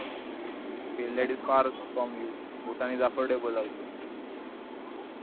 Finlandisfarfromyou Bhutan isaffordablealso